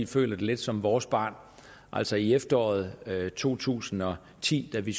føler det lidt som vores barn altså i efteråret to tusind og ti da vi